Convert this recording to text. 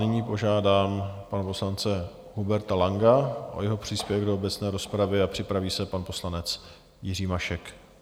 Nyní požádám pana poslance Huberta Langa o jeho příspěvek do obecné rozpravy a připraví se pan poslanec Jiří Mašek.